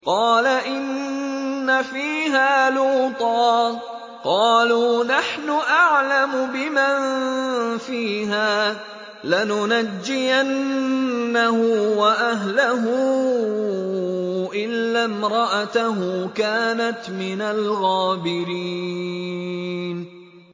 قَالَ إِنَّ فِيهَا لُوطًا ۚ قَالُوا نَحْنُ أَعْلَمُ بِمَن فِيهَا ۖ لَنُنَجِّيَنَّهُ وَأَهْلَهُ إِلَّا امْرَأَتَهُ كَانَتْ مِنَ الْغَابِرِينَ